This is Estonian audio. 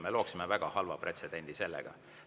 Me looksime väga halva pretsedendi sellega.